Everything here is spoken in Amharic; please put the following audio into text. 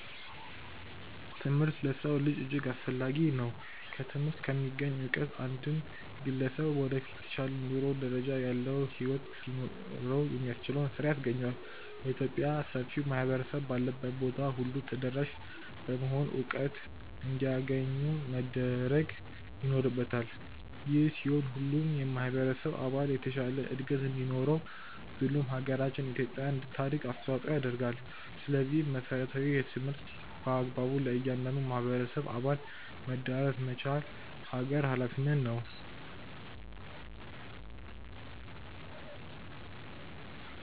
ትምህርት ለሰው ልጅ እጅግ አስፈላጊ ነው። ከትምህርት ከሚገኝ እውቀት አንድን ግለሰብ ወደፊት የተሻለ የኑሮ ደረጃ ያለውን ህይወት ሊያኖረው የሚያስችለውን ስራ ያስገኘዋል። የኢትዮጵያ ሰፊው ማህበረሰብ ባለበት ቦታ ሁሉ ተደራሽ በመሆን እውቀት እንዲያገኙ መደረግ ይኖርበታል። ይህ ሲሆን ሁሉም የማህበረሰብ አባል የተሻለ እድገት እንዲኖረው ብሎም ሃገራችን ኢትዮጵያ እንታድግ አስተዋጽኦ ያደርጋል። ስለዚህም መሰረታዊ የትምህርት በአግባቡ ለእያንዳንዱ የማህበረሰብ አባል መዳረስ መቻል ሀገር ሃላፊነት ነው።